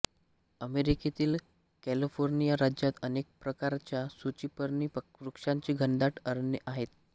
अमेरिकेतील कॅलिफोर्निया राज्यात अनेक प्रकारच्या सूचिपर्णी वृक्षांची घनदाट अरण्ये आहेत